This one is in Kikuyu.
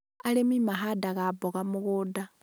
arĩmi mahandaga mboga mũgũnda